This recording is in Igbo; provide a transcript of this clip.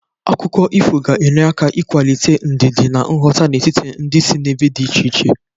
Akụkọ ifo ga-enye aka ịkwalite ndidi na nghọta n'etiti ndị si n'ebe dị iche iche.